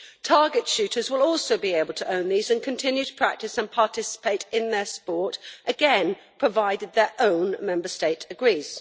Target shooters will also be able to own these and continue to practice and participate in their sport, again provided their own Member State agrees.